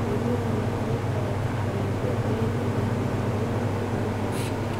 Adeegyada la-talinta ayaa ka caawiya beeralayda inay horumariyaan xirfadahooda.